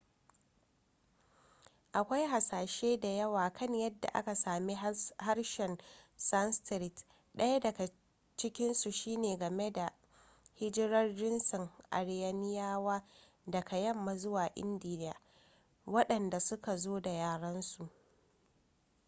akwai hasashe da yawa kan yadda aka sami harshen sanskrit ɗaya daga cikinsu shine game da hijirar jinsin aryaniyawa daga yamma zuwa india waɗanda suka zo da yarensu